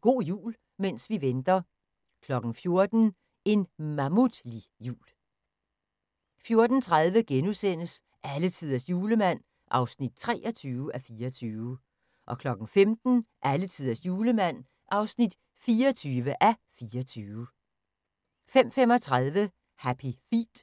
Go' jul – mens vi venter 14:00: En mammutlig jul 14:30: Alletiders Julemand (23:24)* 15:00: Alletiders Julemand (24:24) 15:35: Happy Feet